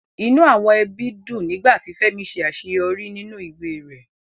Inú àwọn ẹbí dùn nígbà tí Fẹ́mi ṣe àṣeyọrí nínú ìwé rẹ̀